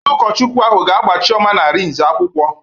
Onye ụkọchukwụ ahụ ga-agba Chioma na Arinze akwụkwọ